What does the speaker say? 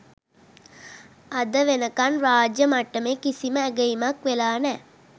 අද වෙනකන් රාජ්‍ය මට්ටමේ කිසිම ඇගයීමක් වෙලා නෑ